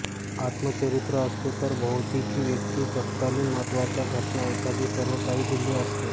आत्मचरित्र असते तर भोवतीच्या व्यक्ती तत्कालीन महत्त्वाच्या घटना एत्यादी सर्व काही दिले असते